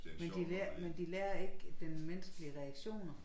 Men de lærer men de lærer ikke den menneskelige reaktioner